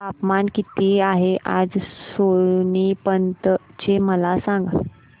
तापमान किती आहे आज सोनीपत चे मला सांगा